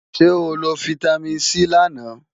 Ṣé o lo fítámìn C lánàá?